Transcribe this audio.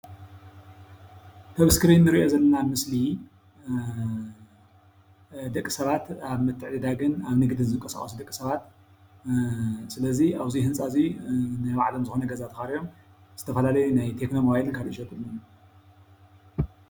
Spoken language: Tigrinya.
እቲ እስክሪን እንሪኦ ዘለና ምስሊ ደቅሰባት ኣብ ምትዕድዳጎን ኣብ ንግዲ ዝንቀሳቀሱን ደቅሰባት ስለዙይ ኣብዚ ህንፃ እዙይ ናይ ባዕሎም ዝኾነ ገዛ ተኻሮዮም ዝተፈላለየ ናይ ቴክኖ ሞባይልን ካሊእን ይሸጡ ኣለው።